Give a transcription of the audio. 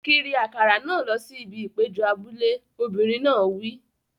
Kiri àkàrà náà lọ sí ibi ìpéjọ abúlé! Obìnrin náà wí.